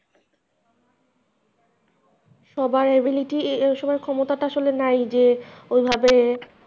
সবার ability সবার ক্ষমতাটা আসলে নাই যে ওইভাবে,